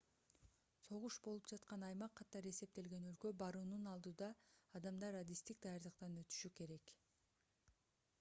согуш болуп жаткан аймак катары эсептелген өлкөгө баруунун алдыyда адамдар адистик даярдыктан өтүшү керек